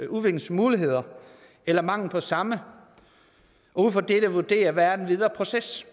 udviklingsmuligheder eller mangel på samme og ud fra dette vurdere hvad den videre proces